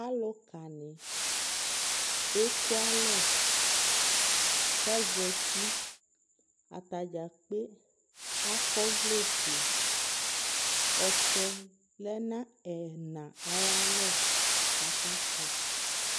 alʋka ni ɛkʋ alɛ kʋ azati, atagya kpɛ akɔ ɔvlɛ ƒʋɛ, ɔtsɛ lɛnʋ ɛna ayialɔ kʋ aka kpɔ